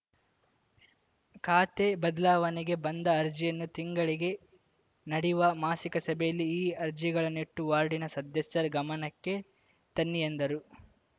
ಖಾತೆ ಬದಲಾವಣೆಗೆ ಬಂದ ಅರ್ಜಿಯನ್ನು ತಿಂಗಳಿಗೆ ನಡೆಯುವ ಮಾಸಿಕ ಸಭೆಯಲ್ಲಿ ಈ ಅರ್ಜಿಗಳನ್ನಿಟ್ಟು ವಾರ್ಡಿನ ಸದಸ್ಯರ ಗಮನಕ್ಕೆ ತನ್ನಿ ಎಂದರು